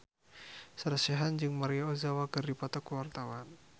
Sarah Sechan jeung Maria Ozawa keur dipoto ku wartawan